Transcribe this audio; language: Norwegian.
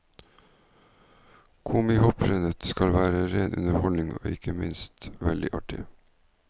Komihopprennet skal være ren underholdning og ikke minst veldig artig.